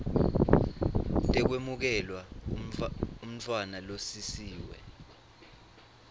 tekwemukela umntfwana losisiwe